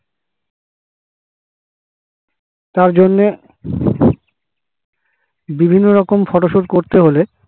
তার জন্যে বিভিন্ন রকম photo shoot করতে হলে